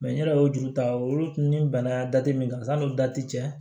n yɛrɛ y'o juru ta olu ni n bɛnna min kan san n'o dati cɛ